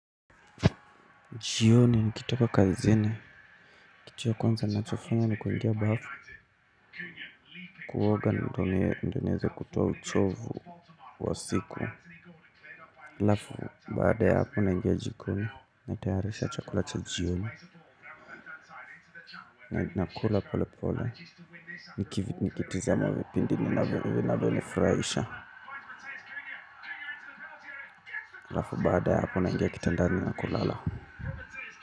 Jioni nikitoka kazini, kitu ya kwanza nachofanya nikuingia bafu. Kuoga ndo nieze kutoa uchovu wa siku. Lafu, baada ya hapo naingia jikoni, natayarisha chakula cha jioni. Nakula pole pole, nikitizama vipindi vinavyonifuraisha, lafu baada ya hapo naingia kitandani na kulala.